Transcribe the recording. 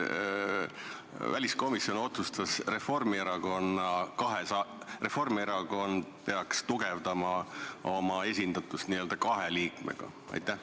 Miks väliskomisjon otsustas, et Reformierakond peaks tugevdama oma esindatust kahe liikmega?